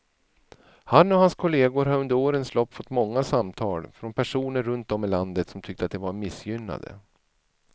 Han och hans kolleger har under årens lopp fått många samtal från personer runt om i landet som tyckte att de var missgynnade.